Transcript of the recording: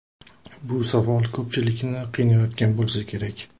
Bu savol ko‘pchilikni qiynayotgan bo‘lsa kerak.